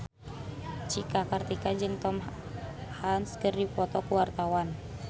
Cika Kartika jeung Tom Hanks keur dipoto ku wartawan